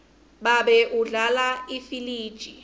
babe udlala ifiliji